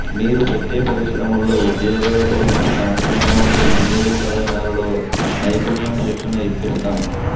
మీరు పెట్టే పరిశ్రమల్లో ఉద్యోగాల కోసం స్థానికంగా ఉండే ఇంజినీరింగ్ కళాశాలలో నైపుణ్యం శిక్షణ ఇప్పిస్తాం